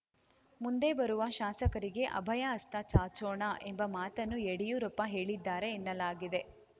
ಮುಂದೆ ಬರುವ ಶಾಸಕರಿಗೆ ಅಭಯ ಹಸ್ತ ಚಾಚೋಣ ಎಂಬ ಮಾತನ್ನು ಯಡಿಯೂರಪ್ಪ ಹೇಳಿದ್ದಾರೆ ಎನ್ನಲಾಗಿದೆ